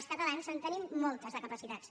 els catalans en tenim moltes de capacitats